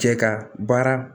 Cɛ ka baara